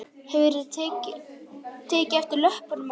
Hefurðu ekki tekið eftir löppunum á henni?